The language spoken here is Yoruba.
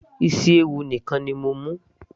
isi ewu nìkan ni mo mú